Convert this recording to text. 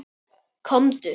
Komdu